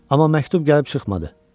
Amma məktub gəlib çıxmadı.